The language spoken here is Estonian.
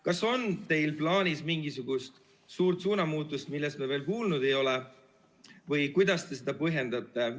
Kas teil on plaanis mingisugune suur suunamuutus, millest me veel kuulnud ei ole, või kuidas te seda põhjendate?